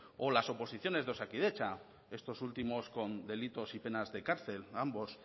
o las oposiciones de osakidetza estos últimos con delitos y penas de cárcel ambos